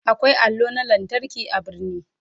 Akwai allo na lantarki a birni.